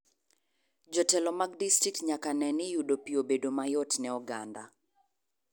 Jotelo mag distrikt nyaka neni yudo pii obedo mayot ne oganda.